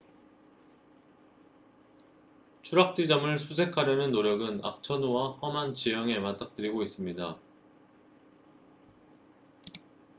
추락 지점을 수색하려는 노력은 악천후와 험한 지형에 맞닥뜨리고 있습니다